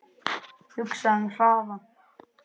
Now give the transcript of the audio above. Hugsaðu um hraðann